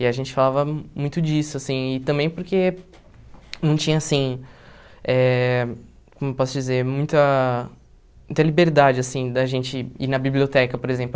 E a gente falava muito disso, assim, e também porque não tinha, assim, eh como eu posso dizer, muita muita liberdade, assim, da gente ir na biblioteca, por exemplo.